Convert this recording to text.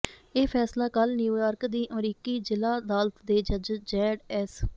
ਇਹ ਫੈਸਲਾ ਕੱਲ੍ਹ ਨਿਊਯਾਰਕ ਦੀ ਅਮਰੀਕੀ ਜ਼ਿਲ੍ਹਾ ਅਦਾਲਤ ਦੇ ਜੱਜ ਜੈੱਡ ਐਸ